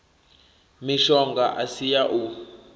mishonga i si ya u